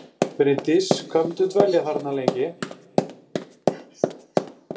Bryndís: Hvað munt þú dvelja þarna lengi?